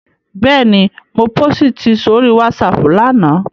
Bẹ́ẹ̀ni, mo pósìtì sórí WhatsApp lánàá